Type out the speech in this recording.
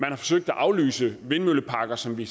har forsøgt at aflyse vindmølleparker som vi